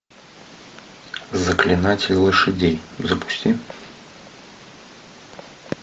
заклинатель лошадей запусти